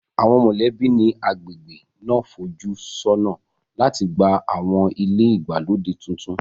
Àwọn mọ̀lẹ́bí ní agbègbè náà ń fojú sọ́nà láti gba àwọn ilé ìgbàlódé tuntun